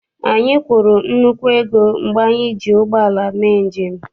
Anyị kwụrụ nnukwu ego mgbe anyị ji ụgbọala mee njem.